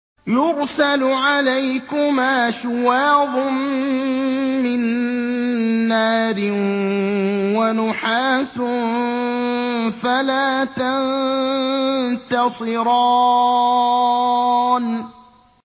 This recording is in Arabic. يُرْسَلُ عَلَيْكُمَا شُوَاظٌ مِّن نَّارٍ وَنُحَاسٌ فَلَا تَنتَصِرَانِ